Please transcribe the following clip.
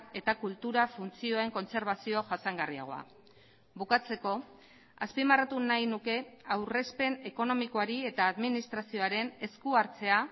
eta kultura funtzioen kontserbazio jasangarriagoa bukatzeko azpimarratu nahi nuke aurrezpen ekonomikoari eta administrazioaren eskuhartzea